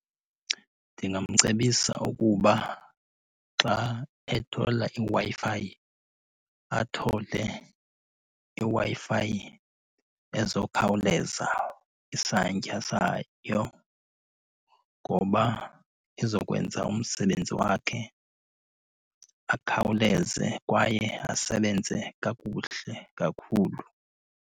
Ndingamcebisa ukuba xa ethola iWi-Fi athole iWi-Fi ezokhawuleza isantya sayo ngoba izokwenza umsebenzi wakhe akhawuleze kwaye asebenze kakuhle kakhulu.